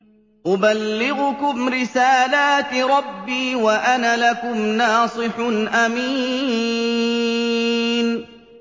أُبَلِّغُكُمْ رِسَالَاتِ رَبِّي وَأَنَا لَكُمْ نَاصِحٌ أَمِينٌ